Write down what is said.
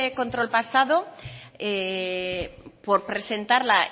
control pasado por presentarla